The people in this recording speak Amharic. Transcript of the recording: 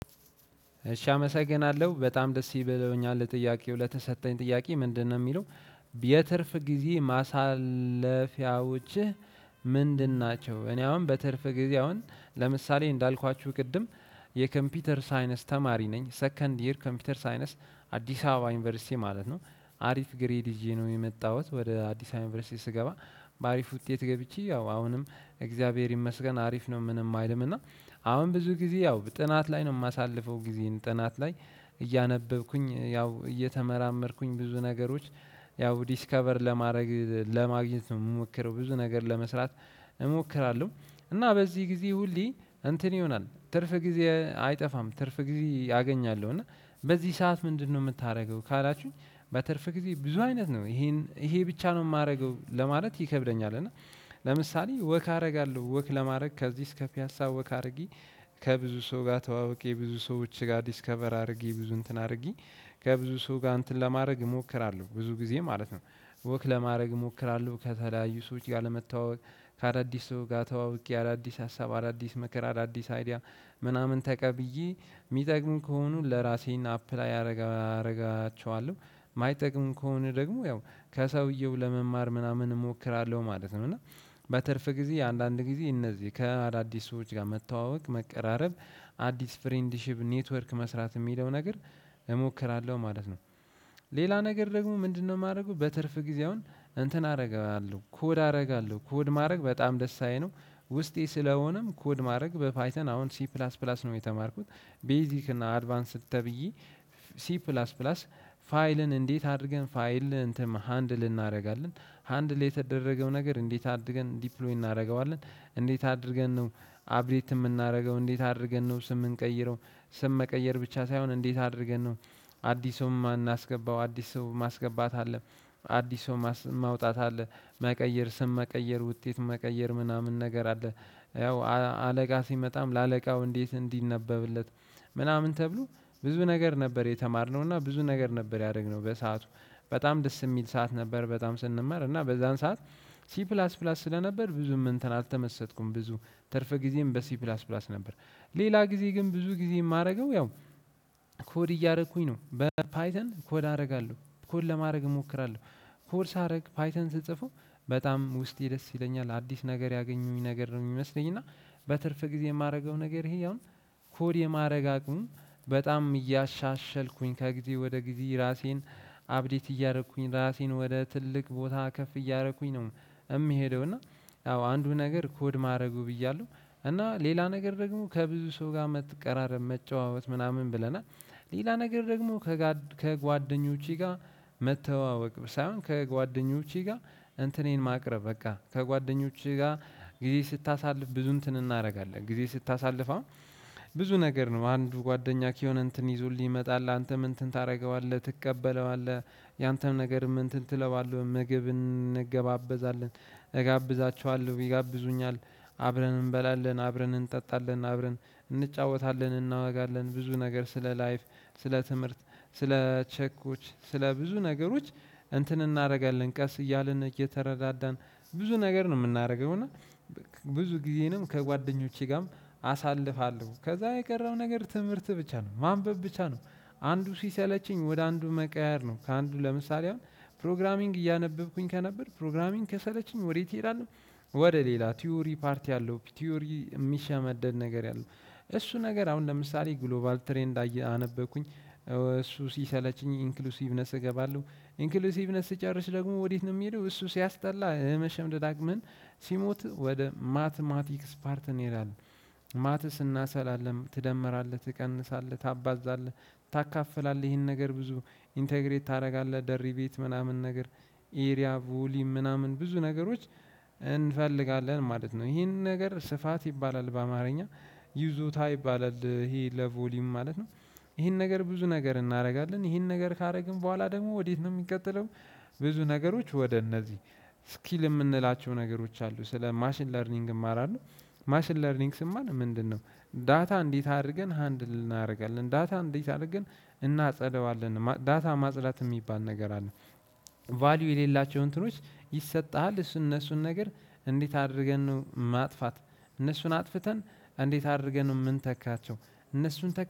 እሺ አመሰግናለሁ በጣም ደስ ይበለውኛል ጥያቄው ለተሰጠኝ ጥያቄ ምንድነው የሚለው? የትርፍ ጊዜ ማሳለፊያዎችህ ምንድን ናቸው? እኔ አሁን በትርፍ ጊዜ አሁን ለምሳሌ እንዳልኳችሁ ቅድም። የኮምፒውተር ሳይነስ ተማሪ ነኝ ሰከንድ ይር ኮምፒውተር ሳይነስ አዲስ አበባ ዩኒቨርሲቲ ማለት ነው። አሪፍ ግሬድ ይዤ ነው የመጣሁት ወደ አዲስ አበባ ዩኒቨርሲቲ ስገባ። በአሪፍ ውጤት ገብቼ ያው አሁንም እግዚአብሔር ይመስገን አሪፍ ነው ምንም አይልም እና። አሁን ብዙ ጊዜ ያው ጥናት ላይ ነው የማሳልፈው ጊዜን ጥናት ላይ። እያነበብኩኝ ያው እየተመራመርኩኝ ብዙ ነገሮች ያው ዲስከቨር ለማድረግ ለማግኘት እምሞክረው ብዙ ነገር ለመስራት። እሞክራለሁ። እና በዚህ ጊዜ ሁሌ እንትን ይሆናል ትርፍ ጊዜ አይጠፋም ትርፍ ጊዜ አገኛለሁ እና በዚህ ሰዓት ምንድነው የምታደርገው ካላችሁኝ? በትርፍ ጊዜ ብዙ አይነት ነው ይሄን ይሄ ብቻ ነው የማደርገው ለማለት ይከብደኛል። እና ለምሳሌ ወክ አደርጋለሁ ወክ ለማድረግ ከዚህ እስከ ፒያሳ ወክጨአድርጌ ከብዙ ሰው ጋር ተዋውቄ ብዙ ሰዎች ጋር ዲስከቨር አድርጌ ብዙ እንትን አድርጌ። ከብዙ ሰው ጋር እንትን ለማድረግ እሞክራለሁ ብዙ ጊዜ ማለት ነው። ወክ ለማድረግ እሞክራለሁ ከተለያዩ ሰዎች ጋር ለመታወቅ። ከአዳዲስ ሰው ጋር ተዋውቄ አዳዲስ ሀሳብ አዳዲስ መከራ አዳዲስ አይዲያ ምናምን ተቀብዬ የሚጠቅሙኝ ከሆኑ ለራሴን አፕላይ አደርጋቸዋለሁ የማይጠቅም ከሆነ ደግሞ ያው ከሰውየው ለመማር ምናምን እሞክራለሁ ማለት ነው። እና በትርፍ ጊዜ አንዳንድ ጊዜ እነዚህ ከአዳዲስ ሰዎች ጋር መተዋወቅ መቀራረብ አዲስ ፍሬንድሺፕ ኔትወርክ መስራት የሚለው ነገር እሞክራለሁ ማለት ነው። ሌላ ነገር ደግሞ ምንድነው የማደርገው? በትርፍ ጊዜ አሁን እንትን አደርጋለሁ ኮድ አደርጋለሁ ኮድ ማድረግ በጣም ደስታየ ነው፤ ውስጤ ስለሆነም ኮድ ማድረግ በፋይተን አሁን ሲ ፕላስ ፕላስ ነው የተማርኩት። ቤዚክ እና አድቫንስድ ተብዬ። ሲ ፕላስ ፕላስ ፋይልን እንዴት አድርገን ፋይል እንትን ሃንድል እናደርጋለን? ሃንድል የተደረገው ነገር እንዴት አድርገን ዲፕሎይ እናደርገዋለን? እንዴት አድርገን ነው? አፕዴት የምናደርገው እንዴት አድርገን ነው ስም የምንቀይረው? ስም መቀየር ብቻ ሳይሆን እንዴት አድርገን ነው? አዲስ ሰው የምናስገባው አዲስ ሰው ማስገባት አለ፤ አዲስ ሰው ማውጣት አለም። መቀየር ስም መቀየር ውጤት መቀየር ምናምን ነገር አለ። ያው አለቃ ሲመጣም ለአለቃው እንዴት እንዲነበብለት ምናምን ተብሎ ብዙ ነገር ነበር የተማርነው እና ብዙ ነገር ነበር ያደረግነው በሰአቱ። በጣም ደስ የሚል ሰዓት ነበር በጣም ስንማር እና በዛን ሰዓት። ሲ ፕላስ ፕላስ ስለነበር ብዙም እንትን አልተመሰጥኩም ብዙ ትርፍ ጊዜም በሲ ፕላስ ፕላስ ነበር። ሌላ ጊዜ ግን ብዙ ጊዜ የማደርገው ያው። ኮድ እያደረኩኝ ነው በፓይተን ኮድ አደርጋለሁ ኮድ ለማድረግ እሞክራለሁ። ኮድ ሳደርግ ፓይተን ስጽፈው በጣም ውስጤ ደስ ይለኛል አዲስ ነገር ያገኙኝ ነገር ነው የሚመስለኝ። እና በትርፍ ጊዜ የማደርገው ነገር ይሄ አሁን ኮድ የማድረግ በጣም እያሻሸልኩኝ ከጊዜ ወደ ጊዜ ራሴን አፕዴት እያደረኩኝ ራሴን ወደ ትልቅ ቦታ ከፍ እያደረኩኝ ነው። የሚሄደው እና አንዱ ነገር ኮድ ማድረጉ ብያለሁ። እና ሌላ ነገር ደግሞ ከብዙ ሰው ጋር መቀራረብ መጨዋወት ምናምን ብለናል። ሌላ ነገር ደግሞ። ከጓደኞቼ ጋር መተዋወቅ ሳይሆን ከጓደኞቼ ጋር እንትኔን ማቅረብ በቃ ከጓደኞቼ ጋር ጊዜ ስታሳልፍ ብዙ እንትን እናደርጋለን ጊዜ ስታሳልፍ አሁን ብዙ ነገር ነው አንዱ ጓደኛ ከሆነ እንትን ይዞልኝ ይመጣል አንተም እንትን ታደርገዋለህ ትቀበለዋለህ። ያንተም ነገርም እንትን ትለዋለህ ምግብን እንገባበዛለን እጋብዛችኋለሁ ይጋብዙኛል። አብረን እንበላለን አብረን እንጠጣለን አብረን እንጫወታለን እናወጋለን ብዙ ነገር ስለ ላይፍ ስለ ትምህርት ስለ ቼኮች ስለ ብዙ ነገሮች። እንትን እናደርጋለን ቀስ እያልን እየተረዳን ብዙ ነገር ነው የምናደርገው እና። ብዙ ጊዜንም ከጓደኞቼ ጋርም አሳልፋለሁ ከዛ የቀረው ነገር ትምህርት ብቻ ነው ማንበብ ብቻ ነው። አንዱ ሲሰለችኝ ወደ አንዱ መቀያየር ነው ከአንዱ ለምሳሌ አሁን ፕሮግራሚንግ እያነበብኩኝ ከነበር ፕሮግራሚንግ ከሰለችኝ ወዴት እሄዳለሁ? ወደ ሌላ ቲዮሪ ፓርቲ ያለው ቲዮሪ የሚሸመደድ ነገር ያለው። እሱ ነገር አሁን ለምሳሌ ግሎባል ትሬንድ አነበብኩኝ። እሱ ሲሰለችኝ ኢንክሉሲቭነስ እገባለሁ። ኢንክሉሲቭነስ ስጨርስ ደግሞ ወዴት ነው የሚሄደው እሱ ሲያስጠላ የመሸምደድ አቅምን። ሲሞት ወደ ማትማቲክስ ፓርት እንሄዳለን። ማትስ እናሰላለን ትደመራለህ ትቀንሳለህ ታባዛለህ። ታካፍላለህ ይሄን ነገር ብዙ ኢንተግሬት ታደርጋለህ ደሪቤት ምናምን ነገር። ኢሪያ ቮሊዩም ምናምን ብዙ ነገሮች። እንፈልጋለን ማለት ነው ይሄንን ነገር ስፋት ይባላል በአማርኛ። ይዞታ ይባላል ይሄ ለቮሊዩም ማለት ነው። ይሄን ነገር ብዙ ነገር እናደርጋለን ይሄን ነገር ካደረግን በኋላ ደግሞ ወዴት ነው የሚቀጥለው? ብዙ ነገሮች ወደ እነዚህ ስኪል የምንላቸው ነገሮች አሉ ስለ ማሽን ለርኒንግ እማራለሁ። ማሽን ለርኒንግ ስማር ምንድነው? ዳታ እንዴት አድርገን ሃንድል እናደርጋለን ዳታ እንዴት አደረግን እናጸደዋለን ዳታ ማጽዳት የሚባል ነገር አለ። ቫልዩ የሌላቸው። ይሰጥሃል እሱን እነሱን ነገር። እንዴት አድርገን ነው ማጥፋት? እነሱን አጥፍተን እንዴት አድርገን የምንተካቸው? እነሱን ተክ